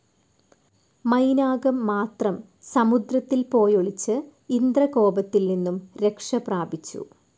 മൈനാകംമാത്രം സമുദ്രത്തിൽ പോയൊളിച്ച് ഇന്ദ്രകോപത്തിൽനിന്നും രക്ഷപ്രാപിച്ചു.